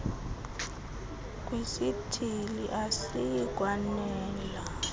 kwesithili asiyi kwanela